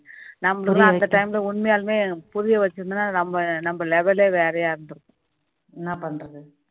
நம்மளுக்கெல்லாம் அந்த time ல உண்மையாலுமே புரிய வெச்சி இருந்தா நம்ம level ஏ வேற மாதிரி இருக்கும்